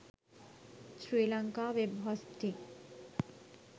sri lanka web hosting